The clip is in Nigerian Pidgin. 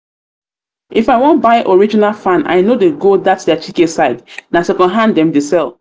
if i wan buy original fan i no dey go that their chike side na second-hand dem dey sell